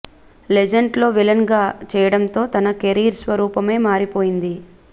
legend లో villain గా చేయడంతో తన కెరీర్ స్వరూపమే మారిపోయింది